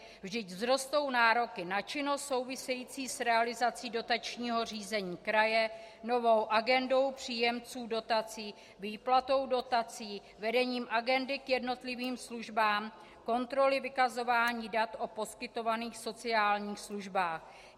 Vždyť vzrostou nároky na činnost související s realizací dotačního řízení kraje, novou agendou příjemců dotací, výplatou dotací, vedením agendy k jednotlivým službám, kontroly vykazování dat o poskytovaných sociálních službách.